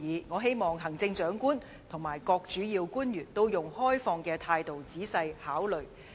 我希望行政長官和各主要官員能以開放的態度，仔細考慮這些建議。